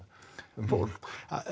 um fólk